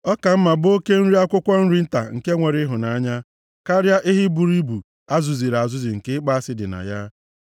Ọ ka mma bụ oke nri akwụkwọ nri nta nke nwere ịhụnanya, karịa ehi buru ibu a zụziri azụzi nke ịkpọ asị dị na ya.